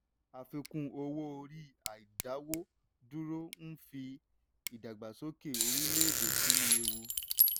àfikún owó orí àìdáwọ́ dúró ń fi ìdàgbàsókè orílẹ̀-èdè sínú ewu.